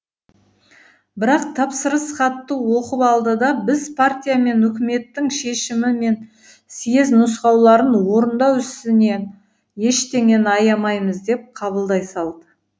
бірақ тапсырыс хатты оқып алды да біз партия мен үкіметтің шешімі мен сьез нұсқауларын орындау ісінен ештеңені аямаймыз деп қабылдай салды